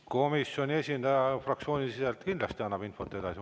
Komisjoni esindaja annab fraktsioonisiseselt kindlasti infot edasi.